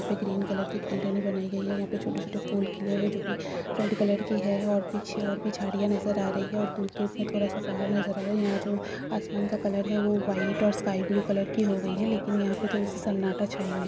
इसपे green colour की greenery बनाई गई है। यह पे छोटे-छोटे फूल खिले हुए हैं जो की रेड कलर के हैं। और पीछे और भी झाड़ियाँ नजर आ रही है। और दूर-दूर मे थोडा-सा पहाड़ नजर आ रहा है। यहाँ जो आसमान का कलर है वो वाइट और स्काई ब्लू कलर की हो गयी है लेकिन यहाँ पे थोड़ी-सी सन्नाटा छाई हुई है।